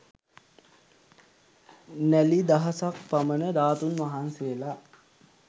නැළි දහසක් පමණ ධාතුන් වහන්සේලා